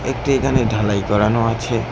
একটি এখানে ঢালাই করানো আছে।